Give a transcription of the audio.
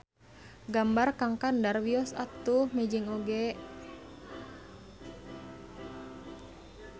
Gambar Kang Kandar wios atuh mejeng oge.